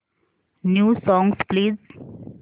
new songs please